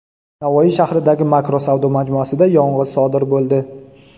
Navoiy shahridagi Makro savdo majmuasida yong‘in sodir bo‘ldi.